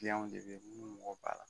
Kiliyanw de bɛ yen minnu mako b'a la.